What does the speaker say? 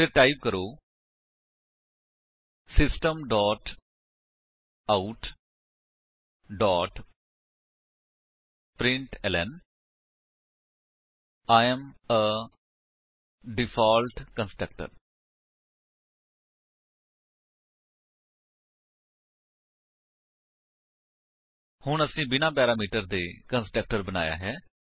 ਫਿਰ ਟਾਈਪ ਕਰੋ system dot out dot println I am a default constructor ਹੁਣ ਅਸੀਂ ਬਿਨਾਂ ਪੈਰਾਮੀਟਰ ਦੇ ਕੰਸਟਰਕਟਰ ਬਣਾਇਆ ਹੈ